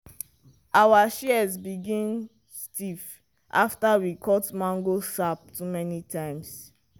our shears begin stiff after we cut mango sap too many times.